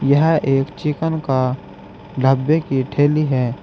यह एक चिकन का ढ़ाब्बे की ठेली है।